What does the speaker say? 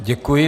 Děkuji.